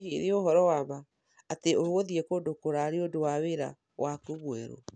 Hihi nĩ ũhoro wa ma atĩ ũgũthiĩ kũndũ kũraya ni ũndu wa wĩra waku mwerũ